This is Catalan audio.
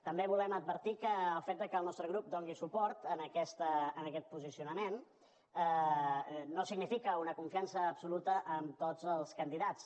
també volem advertir que el fet que el nostre grup doni suport a aquest posicionament no significa una confiança absoluta en tots els candidats